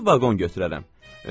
Xüsusi vaqon götürərəm.